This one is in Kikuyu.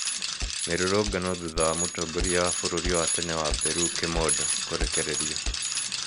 Mĩrũrũngano thũtha wa mũtongoria wa bũrũri wa tene wa Peru, kimondo kũrekererĩo